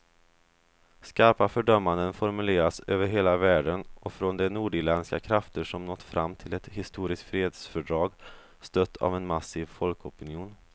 Skarpa fördömanden formuleras över hela världen och från de nordirländska krafter som nått fram till ett historiskt fredsfördrag, stött av en massiv folkopinion.